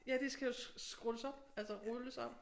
Ja de skal jo scrolles op altså rulles op